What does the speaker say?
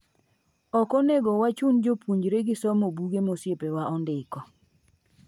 Okonego wachun jopuonjre gi somo buge ma osiepa wa ondiko.